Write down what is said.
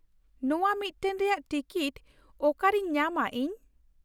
ᱱᱚᱶᱟ ᱢᱤᱫᱴᱟᱝ ᱨᱮᱭᱟᱜ ᱴᱤᱠᱤᱴ ᱚᱠᱟᱨᱮᱧ ᱧᱟᱢᱟ ᱤᱧ ?